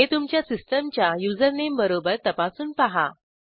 हे तुमच्या सिस्टीमच्या युजरनेमबरोबर तपासून पहा